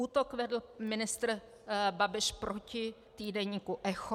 Útok vedl ministr Babiš proti týdeníku Echo.